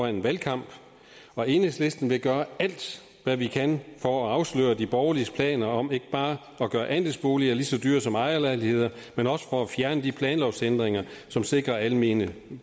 en valgkamp og i enhedslisten vil vi gøre alt hvad vi kan for at afsløre de borgerliges planer om ikke bare at gøre andelsboliger lige så dyre som ejerlejligheder men også for at fjerne de planlovsændringer som sikrer almene